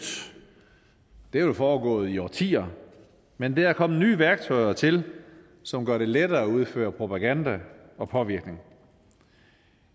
det er vel foregået i årtier men der er kommet nye værktøjer til som gør det lettere at udføre propaganda og påvirkning